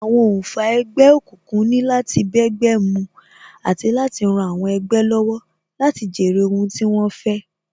Àwọn oǹfà ẹgbẹ́ òkùnkùn ni láti bẹ́gbẹ́ mu àti láti ran àwọn ẹgbẹ́ lọ́wọ́ láti jèrè ohun tí wón fẹ́